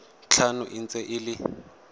tlhano e ntse e le